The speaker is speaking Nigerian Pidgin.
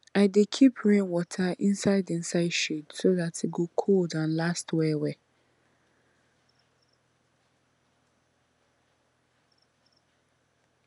i dey keep rainwater inside inside shade so dat e go cold and last well well